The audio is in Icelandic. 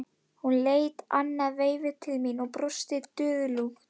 Hún leit annað veifið til mín og brosti dulúðugt.